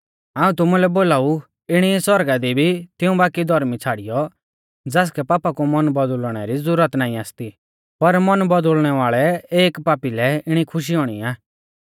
हाऊं तुमुलै बोलाऊ इणी ई सौरगा दी भी तिऊं बाकी धौर्मी छ़ाड़ियौ ज़ासकै पापा कु मन बौदुल़णै री ज़ुरत नाईं आसती पर मन बौदुल़णै वाल़ै एक पापी लै इणी खुशी हुणी आ